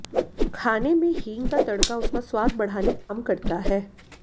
खाने में हींग का तड़का उसका स्वाद बढ़ाने का काम करता है